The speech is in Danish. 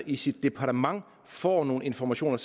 i sit departement får nogle informationer